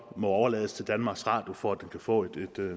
må overlades til danmarks radio for at den kan få et